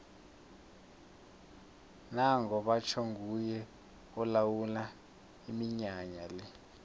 nango batjho nguye olawula iminyanya le